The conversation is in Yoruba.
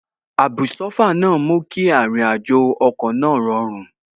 Àbùsófà náà mú kí àrìnàjò ọkọ̀ náà rọrùn